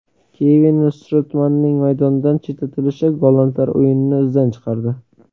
Kevin Strootmanning maydondan chetlatilishi, gollandlar o‘yinini izdan chiqardi.